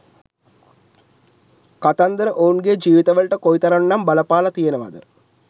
කතන්දර ඔවුන්ගේ ජීවිතවලට කොයිතරම් නම් බලපාල තියෙනවද